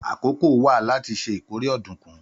Àkókò wà láti ṣe ìkórè ọ̀dùnkún.